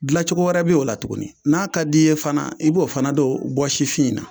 Dilancogo wɛrɛ b'o la tuguni, n'a ka d'i ye fana, i b'o fana don bɔsifin in na.